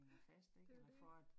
Ja, det jo det